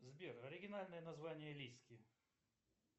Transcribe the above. сбер оригинальное название лиски